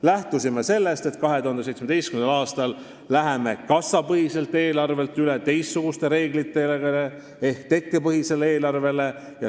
Lähtusime sellest, et 2017. aastal läheme kassapõhiselt eelarvelt üle teistsugustele reeglitele ehk tekkepõhisele eelarvele.